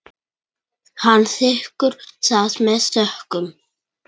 Hann þiggur það með þökkum.